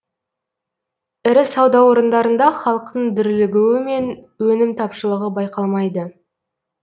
ірі сауда орындарында халықтың дүрлігуі мен өнім тапшылығы байқалмайды